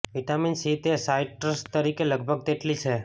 vitamin C તે citrus તરીકે લગભગ તેટલી છે